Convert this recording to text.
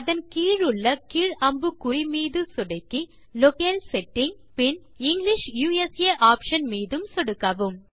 அதன் கீழுள்ள கீழ் அம்புக்குறி மீது சொடுக்கி லோக்கேல் செட்டிங் பின் இங்கிலிஷ் யுஎஸ்ஏ ஆப்ஷன் மீது சொடுக்கவும்